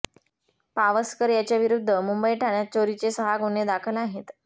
पावसकर याच्याविरुद्ध मुंबई ठाण्यात चोरीचे सहा गुन्हे दाखल आहेत